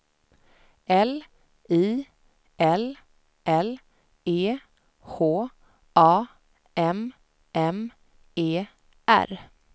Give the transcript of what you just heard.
L I L L E H A M M E R